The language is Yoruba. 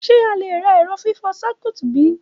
Ṣe a le ra ẹrọ fifọ Circuit bi?